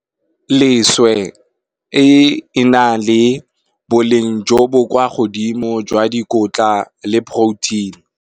Leswe, e na le boleng jo bo kwa godimo jwa dikotla le protein.